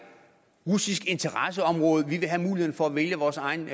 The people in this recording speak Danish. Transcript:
russisk interesseområde vi vil have muligheden for at vælge vores egen